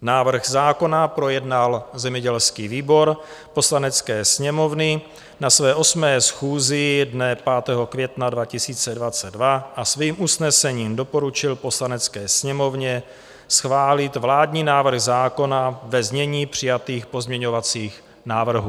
Návrh zákona projednal zemědělský výbor Poslanecké sněmovny na své 8. schůzi dne 5. května 2022 a svým usnesením doporučil Poslanecké sněmovně schválit vládní návrh zákona ve znění přijatých pozměňovacích návrhů.